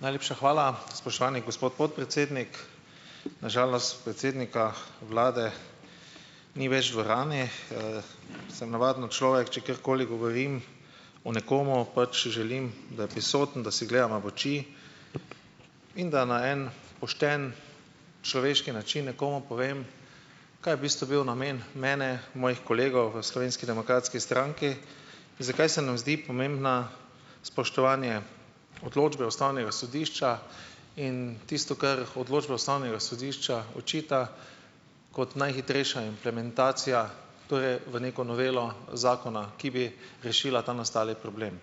Najlepša hvala, spoštovani gospod podpredsednik. Na žalost predsednika vlade ni več v dvorani. Sem navadno človek, če karkoli govorim o nekom, pač želim, da je prisoten, da si gledava v oči in da na en pošten človeški način nekomu povem, kaj je v bistvu bil namen mene, mojih kolegov v Slovenski demokratski stranki in zakaj se nam zdi pomembno spoštovanje odločbe ustavnega sodišča in tisto, kar odločba ustavnega sodišča očita, kot najhitrejša implementacija to je v neko novelo zakona, ki bi rešila ta nastali problem.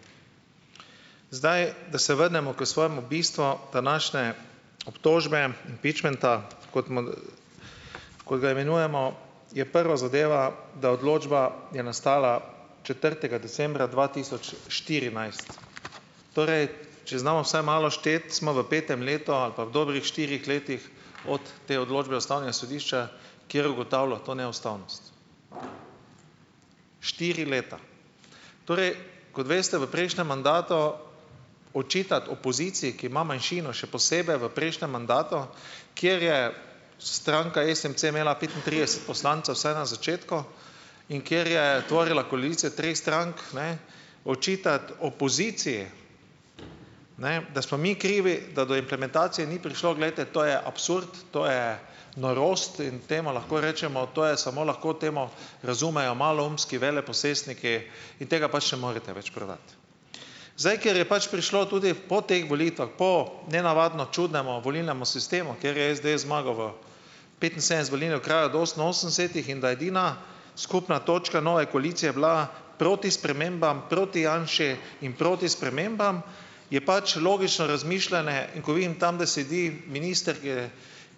Zdaj, da se vrnemo k svojemu bistvu današnje obtožbe. impičmenta, kot kot ga imenujemo, je prva zadeva, da odločba je nastala četrtega decembra dva tisoč štirinajst. Torej, če znamo vsaj malo šteti, smo v petem letu ali pa v dobrih štirih letih od te odločbe ustavnega sodišča, kjer ugotavlja to neustavnost. Štiri leta. Torej, kot veste, v prejšnjem mandatu očitati opoziciji, ki ima manjšino, še posebej v prejšnjem mandatu, kjer je stranka SMC imela petintrideset poslancev vsaj na začetku in kjer je tvorila koalicijo treh strank, ne, očitati opoziciji, ne, da smo mi krivi, da do implementacije ni prišlo, glejte, to je absurd, to je norost in temu lahko rečemo, to je samo lahko temo, razumejo maloumski veleposestniki in tega pač ne morete več prodati. Zdaj, ker je pač prišlo tudi po teh volitvah, po nenavadno čudnem volilnem sistemu, kjer je SDS zmagal v petinsedemdeset volilnih okrajih od oseminosemdesetih in da edina skupna točka nove koalicije je bila proti spremembam, proti Janši in proti spremembam, je pač logično razmišljanje in ko vidim tam, da sedi minister, kjer je,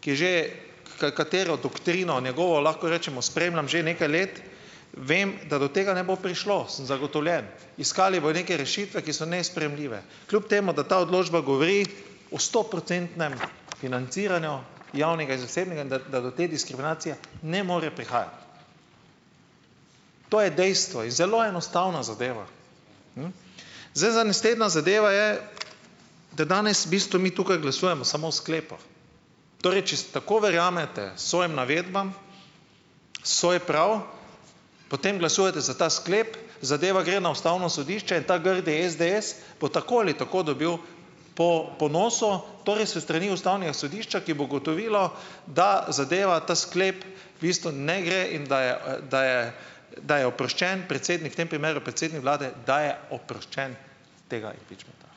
ki je že, katero doktrino njegovo lahko rečemo, spremljam že nekaj let, vem, da do tega ne bo prišlo. Sem zagotovljen. Iskali bojo neke rešitve, ki so nesprejemljive kljub temu, da ta odločba govori o stoprocentnem financiranju javnega in zasebnega, da da do te diskriminacije ne more prihajati. To je dejstvo in zelo enostavna zadeva. Zdaj za naslednja zadeve je, da danes v bistvu mi tukaj glasujemo samo o sklepu. Torej, če tako verjamete svojim navedbam, svoj prav, potem glasujete za ta sklep, zadeva gre na ustavno sodišče in ta grdi SDS bo tako ali tako dobil po po nosu, torej s strani ustavnega sodišča, ki bo ugotovilo, da zadeva ta sklep v bistvu ne gre in da je, da je da je oproščen predsednik, v tem primeru predsednik vlade, da je oproščen tega impičmenta.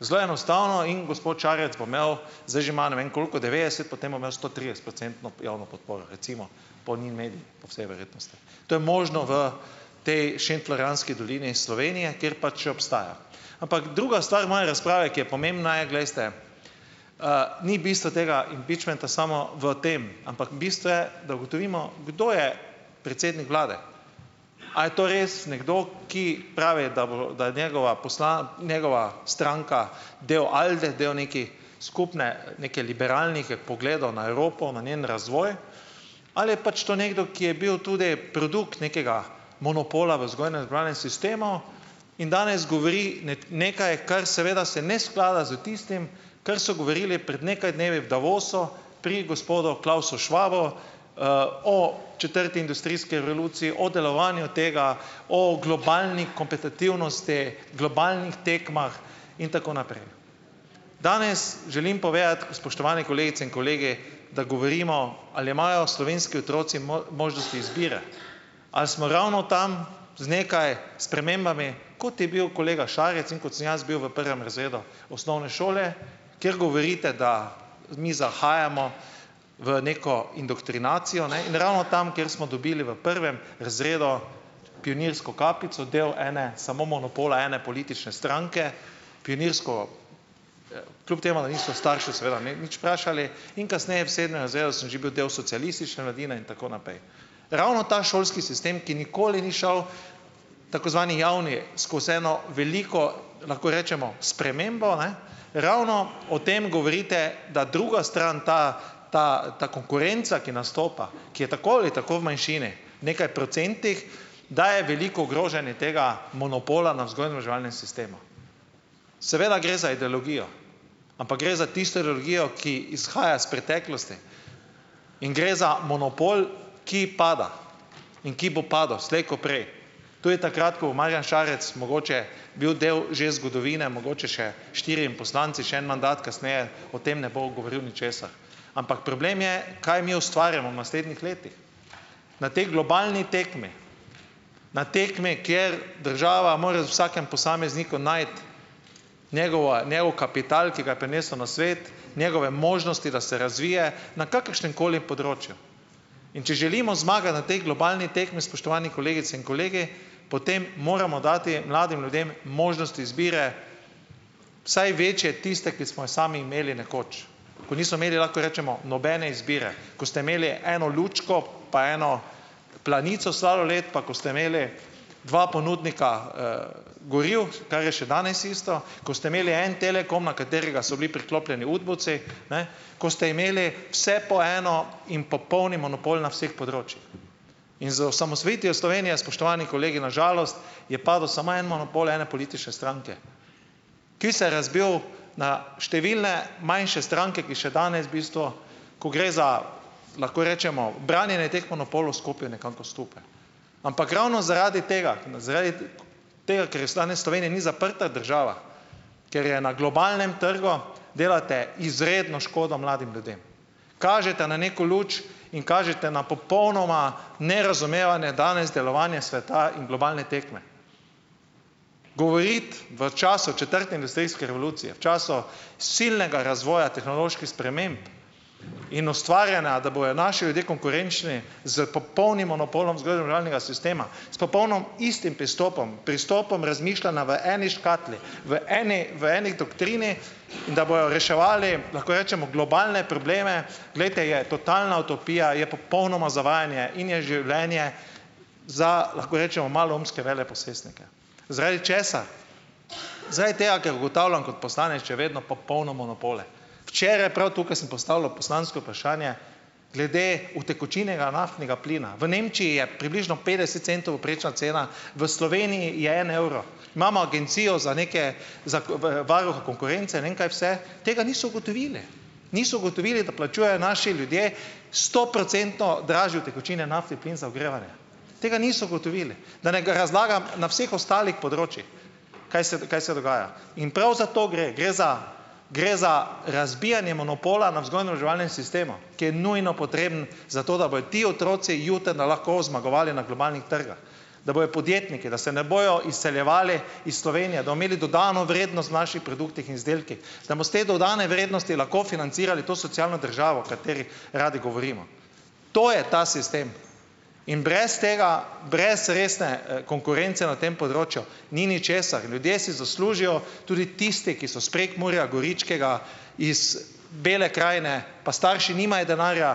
Zelo enostavno in gospod Šarec bo imel, zdaj že ma ne vem koliko, devetdeset, potem bo imel stotridesetprocentno javno podporo. Recimo po Ninamediji, po vsej verjetnosti. To je možno v potem Šentflorjanski dolini Slovenije, kjer pač še obstaja. Ampak druga stvar moje razprave, ki je pomembna je, glejte, ni bistvo tega impičmenta samo v tem, ampak bistvo je, da ugotovimo, kdo je predsednik vlade. A je to res nekdo, ki pravi, da bo da je njegova njegova stranka del Alde, del neke skupne neke liberalnih, pogledov na Evropo, na njen razvoj, ali je pač to nekdo, ki je bil tudi produkt nekega monopola v vzgojno-izobraževalnem sistemu in danes govori nekaj, kar seveda se ne sklada s tistim, kar so govorili pred nekaj dnevi v Davosu, pri gospodu Klausu Schwabu, o četrti industrijski revoluciji, o delovanju tega, o globalni kompetitivnosti, globalnih tekmah in tako naprej. Danes želim povedati, spoštovane kolegice in kolegi, da govorimo, ali imajo slovenski otroci možnost izbire. Ali smo ravno tam z nekaj spremembami, kot je bil kolega Šarec in kot sem jaz bil v prvem razredu osnovne šole, kjer govorite, da mi zahajamo v neko indoktrinacijo, ne, in ravno tam, kjer smo dobili v prvem razredu pionirsko kapico, del ene samo monopola ene politične stranke, pionirsko ... kljub temu, da niso starši seveda me nič vprašali in kasneje v sedmem razredu sem že bil del socialistične mladine in tako naprej. Ravno ta šolski sistem, ki nikoli ni šel, tako zvani javni, skozi eno veliko lahko rečemo spremembo, ne, ravno o tem govorite, da druga stran, ta ta ta konkurenca, ki nastopa, ki je tako ali tako v manjšini - nekaj procentih, da je veliko groženj in tega monopola na vzgojno-izobraževalnem sistemu. Seveda gre za ideologijo, ampak gre za tisto ideologijo, ki izhaja iz preteklosti in gre za monopol, ki pada in ki bo padel slej kot prej. To je takrat, ko bo Marjan Šarec mogoče bil del že zgodovine, mogoče še štirimi poslanci, še en mandat kasneje, o tem ne bo govoril ničesar. Ampak problem je, kaj mi ustvarjamo v naslednjih letih. Na tej globalni tekmi, na tekmi, kjer država mora z vsakim posameznikom najti njegova njegov kapital, ki ga je prinesel na svet, njegove možnosti, da se razvije na kakršnemkoli področju. In če želimo zmagati na potem globalni tekmi, spoštovani kolegice in kolegi, potem moramo dati mladim ljudem možnost izbire, vsaj večje tiste, ki smo jo sami imeli nekoč. Ko nismo imeli, lahko rečemo, nobene izbire, ko ste imeli eno lučko, pa eno Planico sladoled, pa ko ste imeli dva ponudnika, goriv, kar je še danes isto, ko ste imeli en Telekom, na katerega so bili priklopljeni udbovci, ne, ko ste imeli vse po eno in popolni monopol na vseh področjih. In z osamosvojitvijo Slovenije, spoštovani kolegi, na žalost je padel samo en monopol ene politične stranke, ki se je razbil na številne manjše stranke, ki še danes v bistvu, ko gre za, lahko rečemo, branjenje teh monopolov, stopijo nekako skupaj. Ampak ravno zaradi tega, zaradi tega, ker je danes Slovenija ni zaprta država, ker je na globalnem trgu, delate izredno škodo mladim ljudem. Kažete na neko luč in kažete na popolnoma nerazumevanje danes delovanja sveta in globalne tekme. Govoriti v času četrte industrijske revolucije, v času silnega razvoja tehnoloških sprememb in ustvarjanja, da bojo naši ljudje konkurenčni s popolnim monopolom vzgojno-izobraževalnega sistema, s popolno istim pristopom, pristopom razmišljanja v eni škatli, v eni v eni doktrini in da bojo reševali lahko rečemo globalne probleme - glejte, je totalna utopija, je popolnoma zavajanje in je življenje za ... lahko rečemo maloumske veleposestnike. Zaradi česa? Zaradi tega, ker ugotavljam kot poslanec še vedno popolne monopole. Včeraj prav tukaj sem postavljal poslansko vprašanje glede utekočinjenega naftnega plina. V Nemčiji je približno petdeset centov povprečna cena, v Sloveniji je en evro. Imamo agencijo za neke za, varuha konkurence, ne vem kaj vse, tega niso ugotovili, niso ugotovili, da plačujejo naši ljudje stoprocentno dražji utekočinjeni naftni plin za ogrevanje. Tega niso ugotovili, da ne razlagam na vseh ostalih področjih, kaj se kaj se dogaja. In prav zato gre, gre za gre za razbijanje monopola na vzgojno-izobraževalnem sistemu, ki je nujno potreben za to, da bojo ti otroci jutri lahko zmagovali na globalnih trgih. Da bojo podjetniki, da se ne bojo izseljevali iz Slovenije, da bomo imeli dodano vrednost v naših produktih in izdelkih, da bomo s te dodane vrednosti lahko financirali to socialno državo, o kateri radi govorimo. To je ta sistem in brez tega, brez resne, konkurence na tem področju, ni ničesar. Ljudje si zaslužijo, tudi tisti, ki so iz Prekmurja, Goričkega, iz Bele krajine, pa starši nimajo denarja,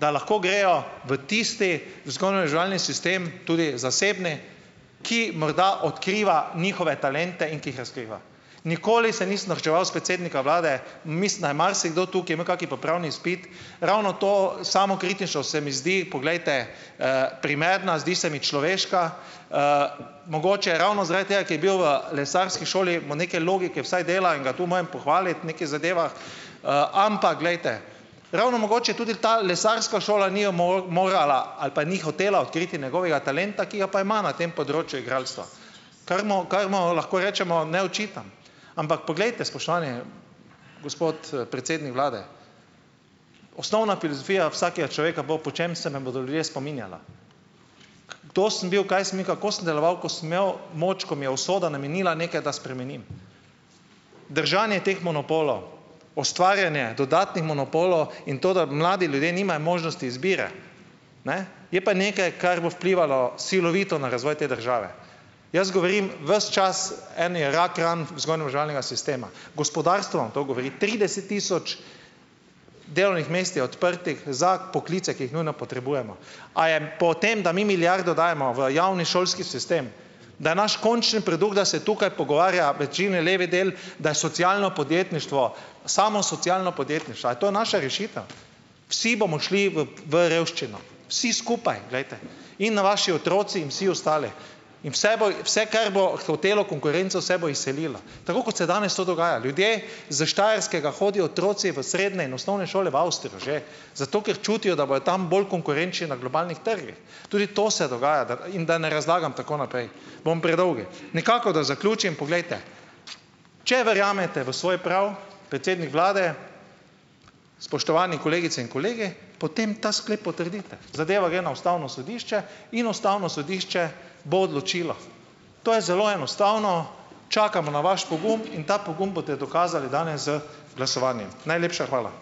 da lahko grejo v tisti vzgojno-izobraževalni sistem, tudi zasebni, ki morda odkriva njihove talente in ki jih razkriva. Nikoli se nisem norčeval s predsednika vlade in mislim, da je marsikdo tukaj imel kak popravni izpit. Ravno to, samokritično, se mi zdi, poglejte, primerna, zdi se mi človeška, mogoče ravno zaradi tega, ker je bil v lesarski šoli, mu neke logike vsaj dela in ga tu morem pohvaliti, v nekih zadevah, ampak glejte, ravno mogoče tudi ta lesarska šola ni morala ali pa ni hotela odkriti njegovega talenta, ki ga pa ima na tem področju igralstva. Kar mu kar mu lahko rečemo, ne očitam. Ampak poglejte, spoštovani gospod predsednik vlade - osnovna filozofija vsakega človeka bo, po čem se nam bodo ljudje spominjala - kadar sem bil, kaj sem bil, kako sem deloval, ko sem imel moč, ko mi je usoda namenila nekaj, da spremenim? Držanje teh monopolov, ustvarjanje dodatnih monopolov in to, da mladi ljudje nimajo možnosti izbire. Ne, je pa nekaj, kar bo vplivalo silovito na razvoj te države. Jaz govorim ves čas, eni je rak rana vzgojno-izobraževalnega sistema. Gospodarstvo vam to govori. trideset tisoč delovnih mest je odprtih za poklice, ki jih nujno potrebujemo, a je po tem, da mi milijardo dajemo v javni šolski sistem, da je naš končni produkt, da se tukaj pogovarja večine levi del, da je socialno podjetništvo, samo socialno podjetništvo. A je to naša rešitev? Vsi bomo šli v v revščino, vsi skupaj, glejte, in na vaši otroci in vsi ostali. In vse bo vse kar bo hotelo konkurenco, se bo izselila. Tako kot se danes to dogaja. Ljudje iz Štajerskega, hodijo otroci v srednje in osnovne šole v Avstrijo že, zato ker čutijo, da bojo tam bolj konkurenčni na globalnih trgih. Tudi to se dogaja da in da ne razlagam tako naprej. Bom predolg. Nekako, da zaključim, poglejte, če verjamete v svoj prav, predsednik vlade, spoštovani kolegice in kolegi, potem ta sklep potrdite. Zadeva gre na ustavno sodišče in ustavno sodišče bo odločilo. To je zelo enostavno, čakamo na vaš pogum in ta pogum boste dokazali danes, z glasovanjem. Najlepša hvala.